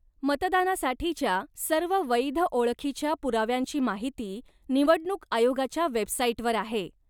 मतदानासाठीच्या सर्व वैध ओळखीच्या पुराव्यांची माहिती निवडणूक आयोगाच्या वेबसाईटवर आहे.